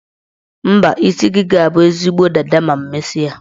Mba, isi gị ga-abụ ezigbo dada ma m mesie.